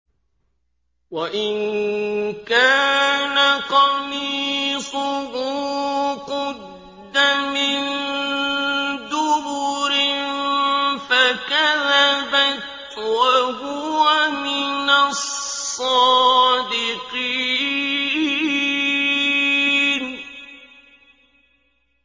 وَإِن كَانَ قَمِيصُهُ قُدَّ مِن دُبُرٍ فَكَذَبَتْ وَهُوَ مِنَ الصَّادِقِينَ